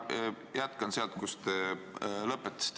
Ma jätkan sealt, kus te lõpetasite.